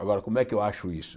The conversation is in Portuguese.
Agora, como é que eu acho isso?